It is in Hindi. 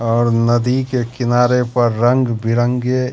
और नदी के किनारे पर रंग बिरंगे--